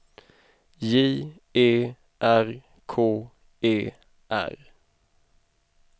J E R K E R